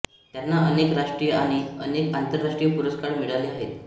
त्यांना अनेक राष्ट्रीय आणि अनेक आंतरराष्ट्रीय पुरस्कार मिळाले आहेत